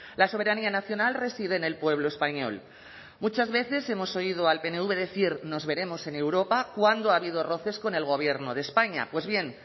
la soberanía nacional reside en el pueblo español muchas veces hemos oído al pnv decir nos veremos en europa cuando ha habido roces con el gobierno de españa pues bien